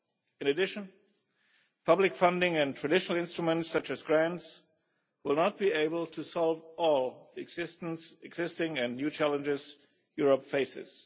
In addition, public funding and traditional instruments such as grants will not be able to solve all the existing and new challenges Europe faces.